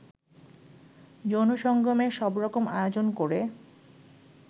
যৌন সঙ্গমের সবরকম আয়োজন করে